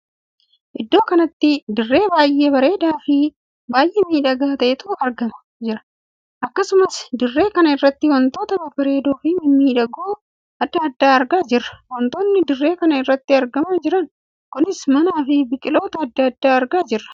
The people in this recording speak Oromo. Iddoo kanatti dirree baay'ee bareedaa fi baay'ee miidhagaa ta`etu argamaa jira. akkasumas dirree kana irratti wantoota babbareedoo fi mimmiidhagoo addaa addaa argaa jirra. wantoonni dirree kana irratti argamaa jiran kunis mana fi biqiloota addaa adda argaa jirra.